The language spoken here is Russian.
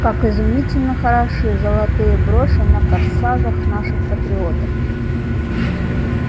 как изумительно хороши золотые броши на корсажах наших патриоток